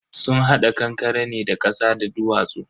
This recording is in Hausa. sun hada kankaren ne da kasa da duwatsu.